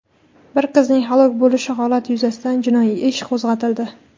bir qizning halok bo‘lishi holati yuzasidan jinoiy ish qo‘zg‘atildi.